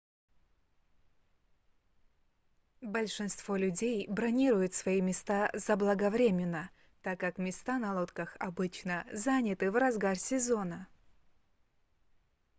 большинство людей бронируют свои места заблаговременно так как места на лодках обычно заняты в разгар сезона